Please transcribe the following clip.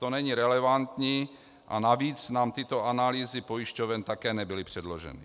To není relevantní a navíc nám tyto analýzy pojišťoven také nebyly předloženy.